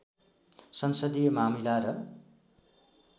संसदीय मामिला र